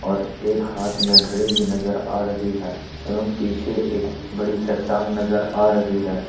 और एक हाथ में घड़ी भी नजर आ रही है एवं पीछे एक बड़ी चट्टान नजर आ रही है।